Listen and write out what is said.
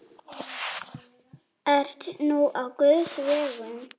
Ert nú á guðs vegum.